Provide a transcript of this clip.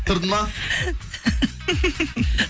тұрды ма